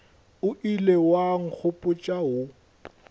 o ilego wa nkgopotša wo